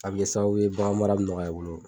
A bi kɛ sababu ye bagan mara bi nɔgɔya i bolo